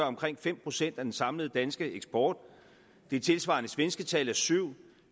omkring fem procent af den samlede danske eksport det tilsvarende svenske tal er syv